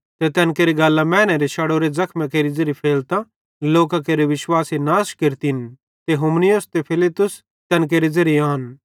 ते तैन केरि गल्लां मैनेरे शड़ोरे ज़खेमेरी ज़ेरी फैलतां लोकां केरे विश्वासे नाश केरतिन ते हुमिनयुस ते फिलेतुस तैन केरे ज़ेरे आन